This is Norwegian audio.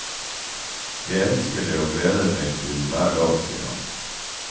Jeg elsker det og gleder meg til hver dag, sier han.